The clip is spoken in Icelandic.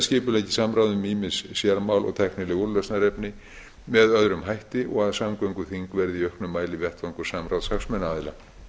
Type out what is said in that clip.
skipuleggi samráð um ýmis sérmál og tæknileg úrlausnarefni með öðrum hætti og að samgönguþing verði í auknum mæli vettvangur samráðs hagsmunaaðila